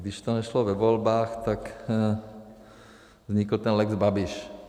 Když to nešlo ve volbách, tak vznikl ten lex Babiš.